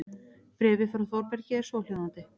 Bréfið frá Þórbergi er svohljóðandi